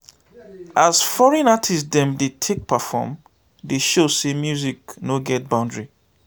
as foreign artist dem dey take perform dey show sey music no get boundary.